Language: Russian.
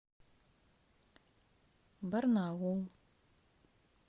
барнаул